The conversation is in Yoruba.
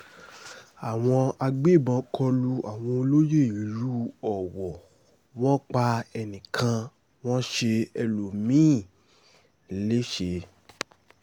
àwọn agbébọ́n kọ lu àwọn olóyè ìlú ọwọ́ wọn pa ẹnì kan wọ́n ṣe ẹlòmí-ín lẹ́sẹ̀